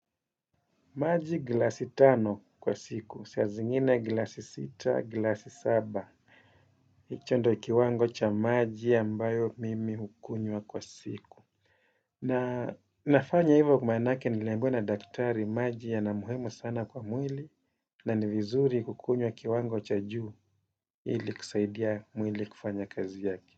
Maji glasi tano kwa siku. Saa zingine glasi sita, glasi saba. Hicho ndo kiwango cha maji ambayo mimi hukunywa kwa siku. Na nafanya hivyo manake niliambiwa na daktari maji yana muhimu sana kwa mwili. Na ni vizuri kukunywa kiwango cha juu ili kusaidia mwili kufanya kazi yake.